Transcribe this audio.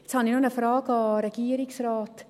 Jetzt habe ich noch eine Frage an den Regierungsrat.